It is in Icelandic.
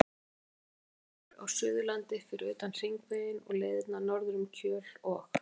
Ég er alveg ókunnugur á Suðurlandi fyrir utan Hringveginn og leiðirnar norður um Kjöl og